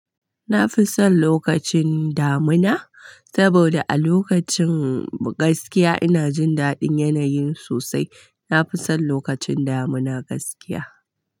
Na fi son lokacin damuna saboda a lokacin gaskiya ina jin daɗin yanayin sosai. Na fi son lokacin damuna gaskiya.